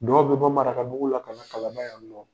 Dɔw bɛ bɔ marakabugu la ka na kalaban yannɔn